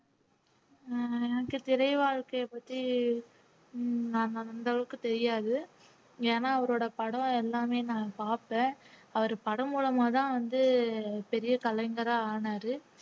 அஹ் எனக்கு திரை வாழ்க்கையைப் பத்தி உம் நாங்க அந்த அளவுக்குத் தெரியாது ஏன்னா அவரோட படம் எல்லாமே நான் பார்ப்பேன் அவர் படம் மூலமாத் தான் வந்து பெரிய கலைஞரா ஆனாரு